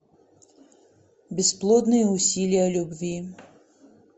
бесплодные усилия любви